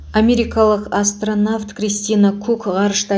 америкалық астронавт кристина кук ғарышта